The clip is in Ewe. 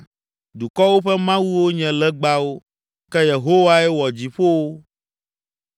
Dukɔwo ƒe mawuwo nye legbawo. Ke Yehowae wɔ dziƒowo.